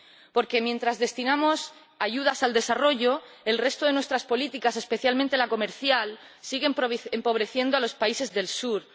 Porque mientras destinamos ayudas al desarrollo, el resto de nuestras políticas, especialmente la comercial, siguen empobreciendo a los países del sur.